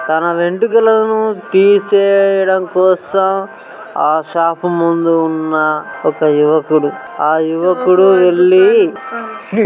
తన వెంట్రుకలను తీసేయడం కోసం ఆ షావు ముందు ఉన్న ఒక యువకుడు ఆ యువకుడు ఎల్లి --